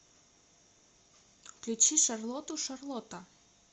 включи шарлоту шарлота